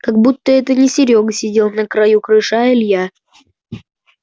как будто это не серёга сидел на краю крыши а илья